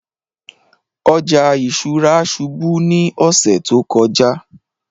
Ọjà ìṣúra ṣùbù ni ọsẹ̀ tó kọ̀jà